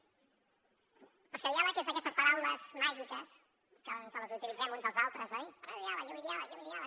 però és que diàleg és d’aquestes paraules màgiques que ens les utilitzem uns als altres oi parlem de diàleg jo vull diàleg jo vull diàleg